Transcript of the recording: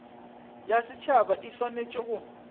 ya setšhaba e swanetše go